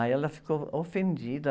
Aí ela ficou ofendida.